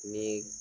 Ni